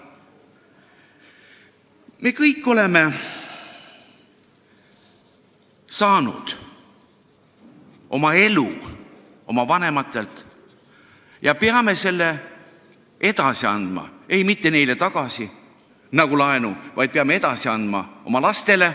Me kõik oleme saanud elu oma vanematelt ja peame selle edasi andma – ei, mitte neile tagasi nagu laenu, vaid peame edasi andma oma lastele.